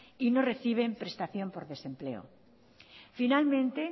y no reciben prestación por desempleo finalmente